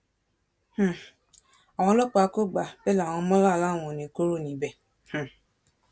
um àwọn ọlọ́pàá kò gbà bẹ́ẹ̀ làwọn mọ́là láwọn ò ní í kúrò níbẹ̀ um